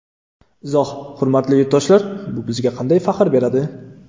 Izoh: Hurmatli yurtdoshlar, bu bizga qanday faxr beradi?